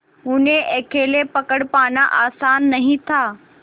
उन्हें अकेले पकड़ पाना आसान नहीं था